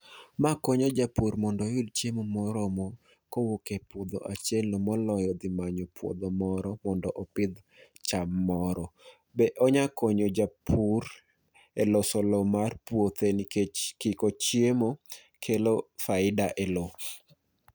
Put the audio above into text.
Ma konyo japur mondo oyud chiemo moromo kowuok epuodho achielno moloyo dhi manyo puodho moro mondo opidh cham moro. Be onya konyo japur eloso lowo mar puothe nikech kiko chiemo kelo faida e lowo.